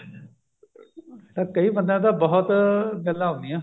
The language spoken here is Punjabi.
ਕਈ ਬੰਦਿਆਂ ਨੂੰ ਤਾਂ ਬਹੁਤ ਗੱਲਾਂ ਆਉਂਦੀਆਂ